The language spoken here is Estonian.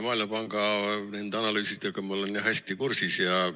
Maailmapanga analüüsidega ma olen hästi kursis.